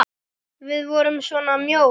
Við vorum svona mjóir!